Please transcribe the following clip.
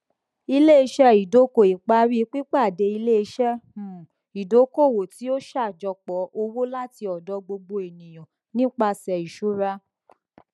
iléiṣẹ ìdókòìparí pípàdé iléiṣẹ um ìdókòowó tí ó ṣàjọpọ owó láti ọdọ gbogbo ènìyàn nipasẹ ìṣúra